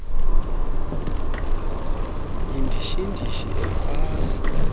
yindishi ndishi akwaaehaza